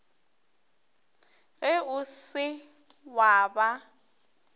ge o se wa ba